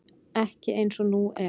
Ekki eins og nú er.